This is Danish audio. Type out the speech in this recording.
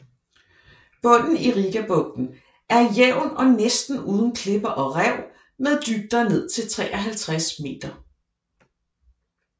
Bunen i Rigabugten er jævn og næsten uden klipper og rev med dybder ned til 53 meter